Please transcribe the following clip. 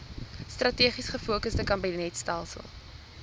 strategies gefokusde kabinetstelsel